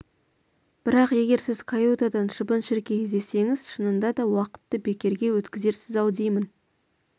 бірақ егер сіз каютадан шыбын-шіркей іздесеңіз шынында да уақытты бекерге өткізерсіз-ау деймін